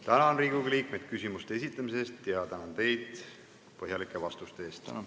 Tänan Riigikogu liikmeid küsimuste esitamise eest ja teid põhjalike vastuste eest!